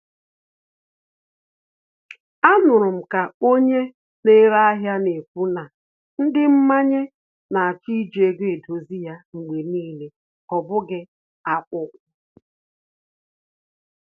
A nụrụ m ka onye na-ere ahịa na-ekwu na ndị mmanye na-achọ iji ego edozi ya mgbe n'ile, ọ abụghị akwụkwọ